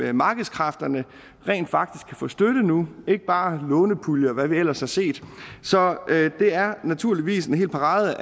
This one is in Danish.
af markedskræfterne kan rent faktisk få støtte nu ikke bare gennem lånepuljer og hvad vi ellers har set så det er naturligvis en hel parade